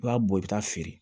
I b'a bɔ i bɛ taa feere